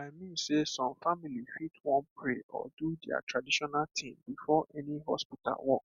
i mean sey some family fit wan pray or do their traditional thing before any hospital work